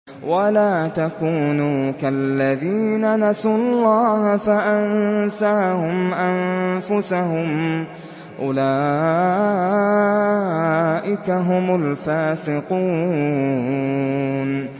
وَلَا تَكُونُوا كَالَّذِينَ نَسُوا اللَّهَ فَأَنسَاهُمْ أَنفُسَهُمْ ۚ أُولَٰئِكَ هُمُ الْفَاسِقُونَ